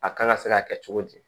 A kan ka se ka kɛ cogo di